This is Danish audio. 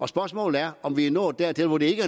spørgsmålet er om vi er nået dertil hvor det ikke